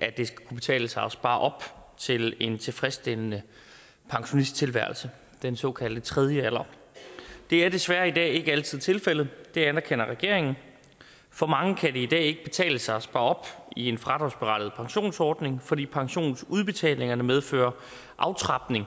at det skal kunne betale sig at spare op til en tilfredsstillende pensionisttilværelse den såkaldte tredje alder det er desværre i dag ikke altid tilfældet og det anerkender regeringen for mange kan det i dag ikke betale sig at spare op i en fradragsberettiget pensionsordning fordi pensionsudbetalingerne medfører aftrapning